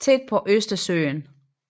tæt på Østersøen